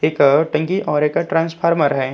एक टंकी और एक ट्रांसफर्मा है।